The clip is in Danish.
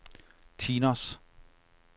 Tinos